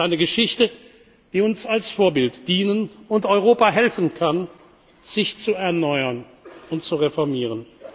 führen. Es ist eine Geschichte, die uns als Vorbild dienen und Europa helfen kann, sich zu erneuern und zu reformieren.